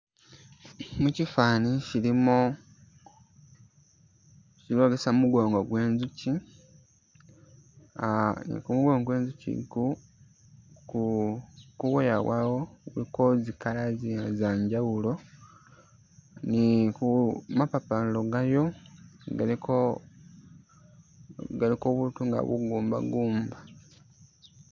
Mukyiifani shilimo shilimo busa mugongo gwenzuchi ah nikumugongo gwenzuchi igu ku kubwoya bwawo kuliko zi colour zanjawulo niku mapapariro gayo galiko galiko butu nga bugumba gumba